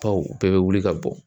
Baw bɛɛ bɛ wuli ka bɔ